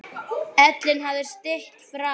Ellin hafði sitt fram.